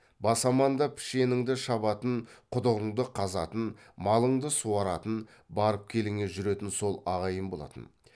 бас аманда пішеніңді шабатын құдығыңды қазатын малыңды суаратын барып келіңе жүретін сол ағайын болатын